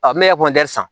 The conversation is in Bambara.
n bɛ san